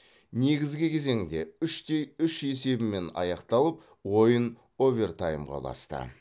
негізгі кезеңде үш те үш есебімен аяқталып ойын овертаймға ұласты